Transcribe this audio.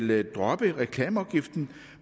vil droppe reklameafgiften